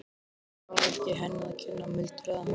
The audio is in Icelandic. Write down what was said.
Þetta var ekki henni að kenna, muldraði hann.